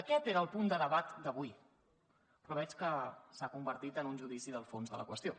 aquest era el punt de debat d’avui però veig que s’ha convertit en un judici del fons de la qüestió